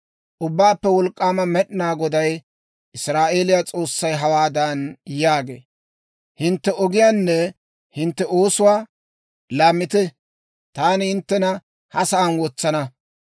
Ubbaappe Wolk'k'aama Med'inaa Goday, Israa'eeliyaa S'oossay hawaadan yaagee; «Hintte ogiyaanne hintte oosuwaa laammite; taani hinttena ha sa'aan wotsana.